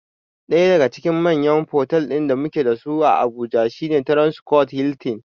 Ɗaya daga cikin manyan fotal ɗin da mu ke da su a Abuja shi ne Transcorp Hiltin.